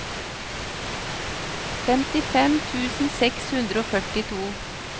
femtifem tusen seks hundre og førtito